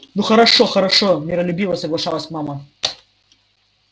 ну хорошо хорошо миролюбиво соглашалась мама